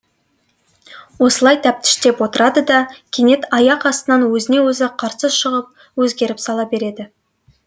осылай тәптіштеп отырады да кенет аяқ астынан өзіне өзі қарсы шығып өзгеріп сала береді